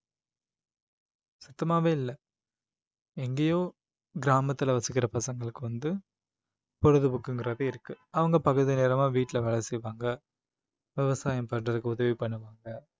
சுத்தமாவே இல்ல எங்கேயோ கிராமத்துல வசிக்கிற பசங்களுக்கு வந்து பொழுதுபோக்குங்கிறது இருக்கு அவங்க பகுதி நேரமா வீட்ல வேலை செய்வாங்க விவசாயம் பண்றதுக்கு உதவி பண்ணுவாங்க